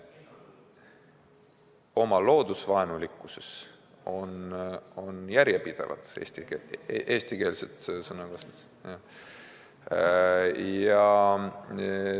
Oma loodusvaenulikkuses on nad järjepidevad, eestikeelset sõna kasutades.